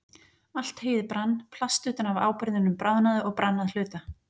Allt heyið brann, plast utan af áburðinum bráðnaði og brann að hluta.